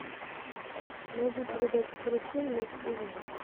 найди передачу карусель на телевизоре